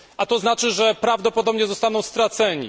A to znaczy, że prawdopodobnie zostaną straceni.